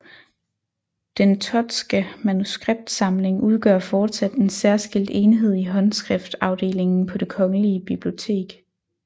Den Thottske manuskriptsamling udgør fortsat en særskilt enhed i Håndskriftafdelingen på Det Kongelige Bibliotek